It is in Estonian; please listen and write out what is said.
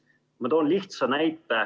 Ma toon lihtsa näite.